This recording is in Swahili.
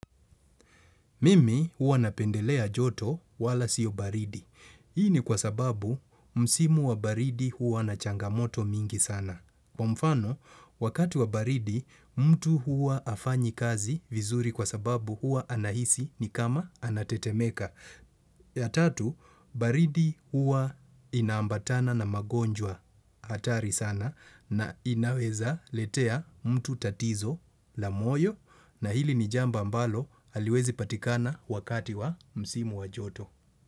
Mimi huwa napendelea joto wala sio baridi. Hii ni kwa sababu msimu wa baridi huwa na changamoto mingi sana. Kwa mfano, wakati wa baridi, mtu huwa hafanyi kazi vizuri kwa sababu huwa anahisi ni kama anatetemeka. Ya tatu, baridi huwa inaambatana na magonjwa hatari sana na inawezaletea mtu tatizo la moyo. Na hili ni jambo ambalo haliwezi patikana wakati wa msimu wa joto.